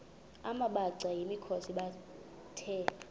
amabhaca yimikhosi the